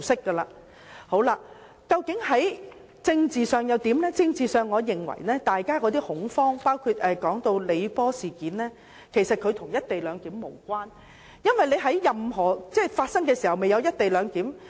在政治方面，我認為大家的恐慌及李波事件其實與"一地兩檢"無關，因為當事件發生時根本未有"一地兩檢"。